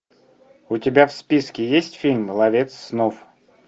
у тебя в списке есть фильм ловец снов